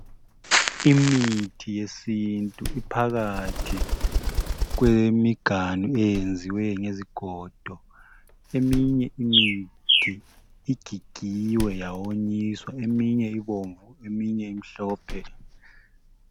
Imithi yesintu iphakathi kwemiganu eyenziwe ngezigodo, eminye imithi igigiwe yawonyiswa ,eminye ibomvu, eminye imhlophe